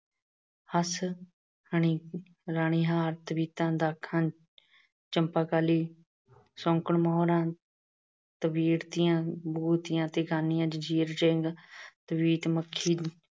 ਹੱਸ, ਰਾਣੀ ਅਹ ਰਾਣੀ ਹਾਰ, ਤਵੀਤਾਂ, ਦਾਖਾਂ, ਚੰਪਾਕਲੀ, ਸੌਂਕਣ ਮੋਹਰਾ, ਤਵੀਰਤੀਆਂ, ਬੁਘਤੀਆਂ ਤੇ ਗਾਨੀਆਂ, ਜੰਜ਼ੀਰ, ਚੇਨ, ਤਵੀਤ ਮੱਖੀ